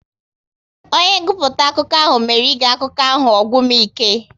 Onye nguputa akụkọ ahụ mere ige akụkọ ahụ ọ gwụ m ike